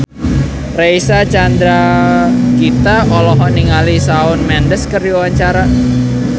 Reysa Chandragitta olohok ningali Shawn Mendes keur diwawancara